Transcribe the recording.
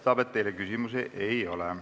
Paistab, et teile küsimusi ei ole.